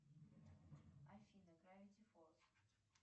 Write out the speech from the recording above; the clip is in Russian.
афина гравити фолз